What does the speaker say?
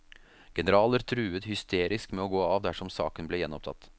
Generaler truet hysterisk med å gå av dersom saken ble gjenopptatt.